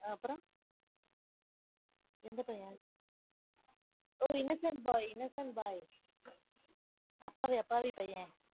அப்புறம்? எந்த பையன்? ஒரு innocent boy innocent boy அப்பாவி அப்பாவி பையன்.